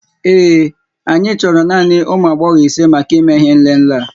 Ee, anyị chọrọ naanị ụmụ agbọghọ isé màkà ìmé ihé nlélé a